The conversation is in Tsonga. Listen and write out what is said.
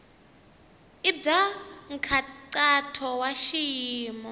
i bya nkhaqato wa xiyimo